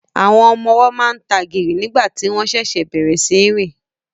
Àwọn ọmọ ọwọ́ máa ń tagìrì nígbà tí wọ́n ṣẹ̀ṣẹ̀ bẹ̀rẹ̀ sí í rìn